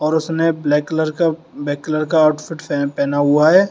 उसने black colour का black colour का आउटफिट पेहना हुआ है।